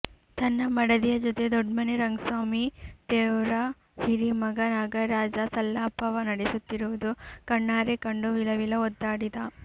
ತನ್ನ ಮಡದಿಯ ಜೊತೆ ದೊಡ್ಮನೆ ರಂಗ್ಸಾಮಿ ತೇವರ್ರ ಹಿರೀಮಗ ನಾಗರಾಜ ಸಲ್ಲಾಪವ ನಡೆಸುತ್ತಿರುವುದ ಕಣ್ಣಾರೆ ಕಂಡು ವಿಲವಿಲ ಒದ್ದಾಡಿದ